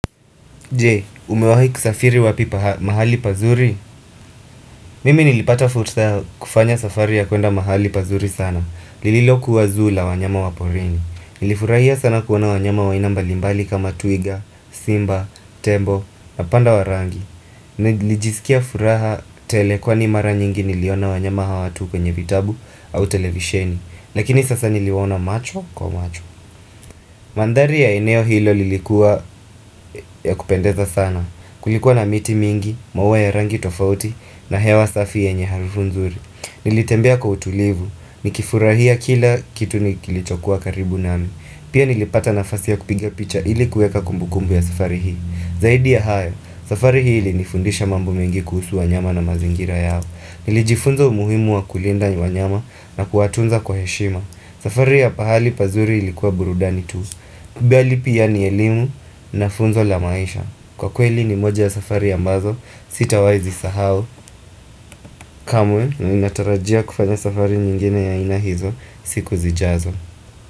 Je umewahi kusafiri wapi mahali pazuri Mimi nilipata fursa ya kufanya safari ya kuenda mahali pazuri sana Lililokuwa zoo wanyama wa porini Nilifurahia sana kuona wanyama wa aina mbalimbali kama twiga, simba, tembo na panda wa rangi Nilijisikia furaha tele kwa ni mara nyingi niliona wanyama hawa tu kwenye vitabu au televisheni Lakini sasa niliwaona macho kwa macho Mandhari ya eneo hilo lilikuwa ya kupendeza sana Kulikuwa na miti mingi, maua ya rangi tofauti na hewa safi yenye harufu nzuri Nilitembea kwa utulivu, nikifurahia kila kitu ni kilichokuwa karibu nami Pia nilipata nafasi ya kupiga picha ilikuweka kumbukumbu ya safari hii Zaidi ya hayo, safari hii ilinifundisha mambo mengi kuhusu wanyama na mazingira yao Nilijifunza umuhimu wa kulinda wanyama na kuwatunza kwa heshima safari ya pahali pazuri ilikuwa burudani tu bali pia ni elimu na funzo la maisha Kwa kweli ni moja ya safari ambazo sitawahi zisahau kamwe natarajia kufanya safari nyingine ya aina hizo siku zijazo.